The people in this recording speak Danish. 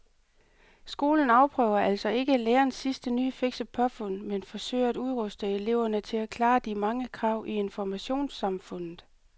Skolen afprøver altså ikke lærernes sidste nye fikse påfund men forsøger at udruste eleverne til at klare de mange krav i informationssamfundet.